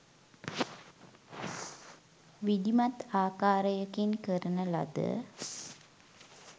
විධිමත් ආකාරයකින් කරන ලද